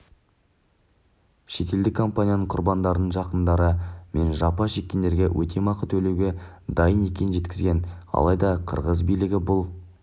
шетелдік компания құрбандардың жақындары мен жапа шеккендерге өтемақы төлеуге дайын екенін жеткізген алайда қырғыз билігі бұл